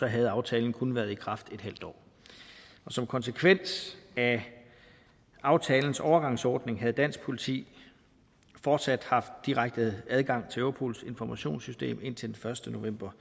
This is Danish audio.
havde aftalen kun været i kraft et halvt år som konsekvens af aftalens overgangsordning havde dansk politi fortsat haft direkte adgang til europols informationssystem indtil den første november